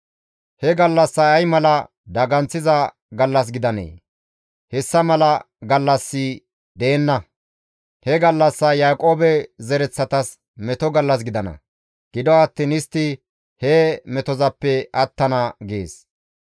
He gallassay ay mala daganththiza gallas gidanee! hessa mala gallassi deenna; he gallassay Yaaqoobe zereththatas meto gallas gidana; gido attiin istti he metozappe attana» gees.